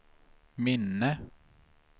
minne